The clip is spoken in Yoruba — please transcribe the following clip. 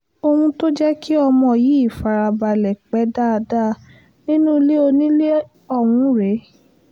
ohun tó jẹ́ kí ọmọ yìí fara balẹ̀ pé dáadáa nínú ilé onílé ọ̀hún rèé